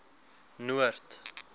noord